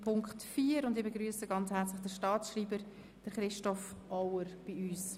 Nun begrüsse ich den Staatsschreiber, Christoph Auer, bei uns.